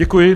Děkuji.